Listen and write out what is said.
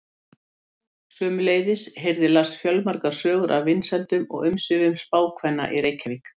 Sömuleiðis heyrði Lars fjölmargar sögur af vinsældum og umsvifum spákvenna í Reykjavík.